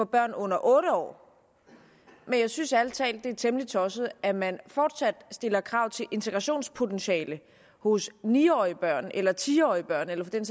børn under otte år men jeg synes ærlig talt det er temmelig tosset at man fortsat stiller krav til integrationspotentiale hos ni årige børn eller ti årige børn eller for den